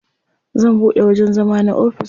Zan buɗe wajen zama na ofis.